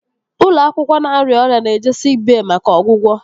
Ụmụ akwụkwọ na-arịa ọrịa na-eje siik bey maka ọgwụgwọ